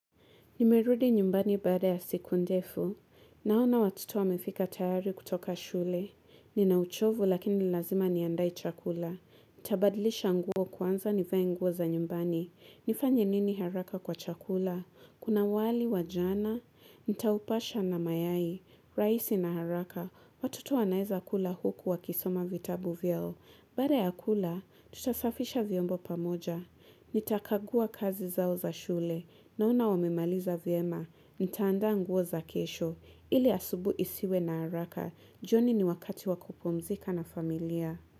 Nimerudi nyumbani baada ya siku ndefu. Naona watoto wamefika tayari kutoka shule. Nina uchovu lakini lazima niandae chakula. Nitabadilisha nguo kwanza nivae nguo za nyumbani. Nifanye nini haraka kwa chakula. Kuna wali, wajana. Nitaupasha na mayai. Raisi na haraka. Watoto wanaeza kula huku wa kisoma vitabu vyao. Baada ya kula, tutasafisha vyombo pamoja. Nita kagua kazi zao za shule. Naona wamemaliza vyema, nitaanda nguo za kesho, ili asubuhi isiwe na haraka, joni ni wakati wakupumzika na familia.